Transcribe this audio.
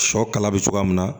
Sɔ kala bɛ cogoya min na